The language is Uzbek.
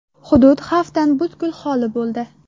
Hudud xavfdan butkul xoli bo‘ldi.